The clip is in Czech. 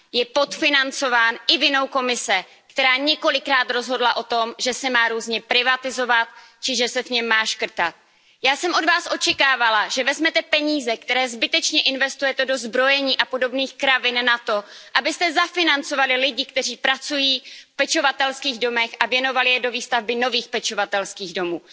Je podfinancován i vinou Komise, která několikrát rozhodla o tom, že se má různě privatizovat či že se v něm má škrtat. Já jsem od Vás očekávala, že vezmete peníze, které zbytečně investujete do zbrojení a podobných kravin, na to, abyste zafinancovali lidi, kteří pracují v pečovatelských domech, a věnovali je do výstavby nových pečovatelských domů.